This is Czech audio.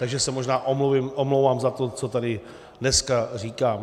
Takže se možná omlouvám za to, co tady dneska říkám.